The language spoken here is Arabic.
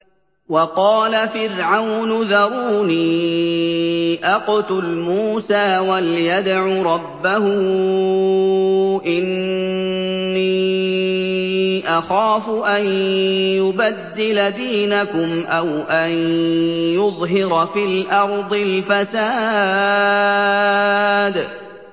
وَقَالَ فِرْعَوْنُ ذَرُونِي أَقْتُلْ مُوسَىٰ وَلْيَدْعُ رَبَّهُ ۖ إِنِّي أَخَافُ أَن يُبَدِّلَ دِينَكُمْ أَوْ أَن يُظْهِرَ فِي الْأَرْضِ الْفَسَادَ